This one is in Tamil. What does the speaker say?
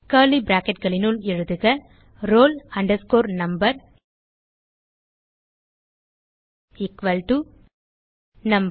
கர்லி bracketகளினுள் எழுதுக roll number is equal to number